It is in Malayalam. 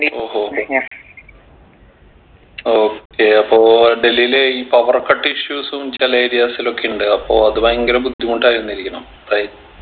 ഹോ ഹോ ഹൊ okay അപ്പൊ ഡൽഹിലെ ഈ power cut issues ഉം ചില areas ൽ ഒക്കെ ഇണ്ട് അപ്പൊ അത് ഭയങ്കര ബുദ്ധിമുട്ടായിരുന്നിരിക്കണം right